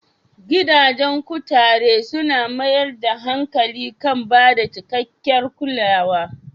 Gidajen kuture suna mayar da hankali kan ba da cikakkiyar kulawa.